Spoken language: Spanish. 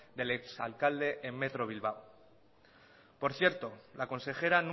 del ex alcalde en metro bilbao por cierto la consejera